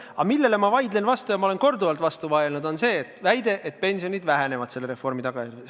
Aga see, millele ma vastu vaidlen ja olen korduvalt vastu vaielnud, on väide, et selle reformi tagajärjel pension väheneb.